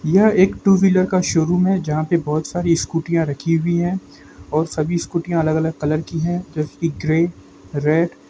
यह एक two -wheeler का शोरूम है यहा पे बहुत सारी स्कूटीया रखी हुई है और सभी स्कूटीया अलग-अलग कलर की है जैसे की ग्रे रेड ।